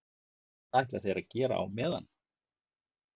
Og hvað ætla þeir að gera á meðan?